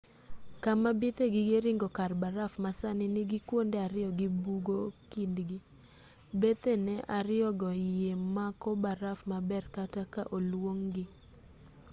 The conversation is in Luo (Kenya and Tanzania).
kama bith e gige ringo kar baraf ma sani nigi kuonde ariyo gi bugo kindgi bethene ariyogo yie mako baraf maber kata ka olung'gi